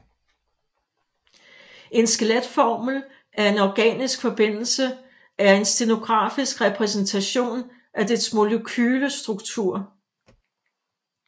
En skeletformel for en organisk forbindelse er en stenografisk repræsentation af dets molekylestruktur